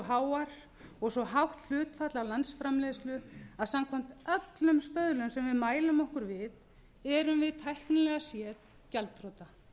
háar og svo hátt hlutfall af landsframleiðslu að samkvæmt öllum stöðlum sem við mælum okkur við erum við tæknilega séð gjaldþrota